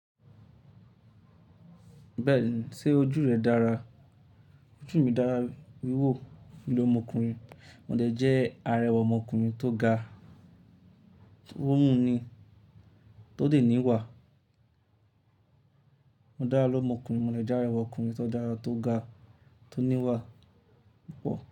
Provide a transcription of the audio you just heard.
Bẹ́ẹ̀ni, ṣé ojú rẹ dára? Ojú mi dára wíwò. Lomo ọmọkùnrin, mo jẹ́ arẹwà ọmọkùnrin tó ga, tó mú ni, tó dè níwà. Mo dára ló ọmọkùnrin, mo jẹ́ arẹwà ọkùnrin tó dára, tó ga, tó níwà púpọ̀